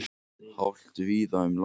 Hált víða um land